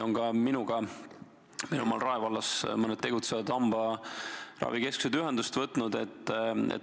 Ka minuga on meil Rae vallas mõned tegutsevad hambaravikeskused ühendust võtnud.